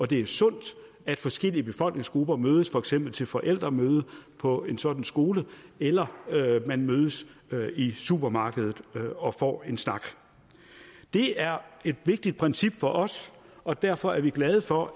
det er sundt at forskellige befolkningsgrupper mødes for eksempel til forældremøde på en sådan skole eller at man mødes i supermarkedet og får en snak det er et vigtigt princip for os og derfor er vi glade for